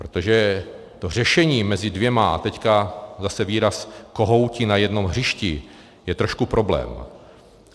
Protože to řešení mezi dvěma - a teď zase výraz kohouti na jednom hřišti - je trošku problém.